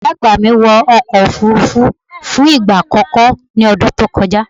Ìyá àgbà mi wọ ọkọ̀ Òfurufú fún ìgbà àkọ́kọ́ ní ọdún tó kọjá.